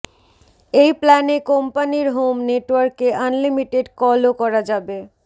এই প্ল্যানে কোম্পানির হোম নেটওয়ার্কে আনলিমিটেড কলও করা যাবে